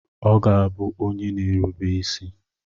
Ọ ga-abụ onye na-erube isi.